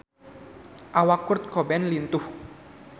Awak Kurt Cobain lintuh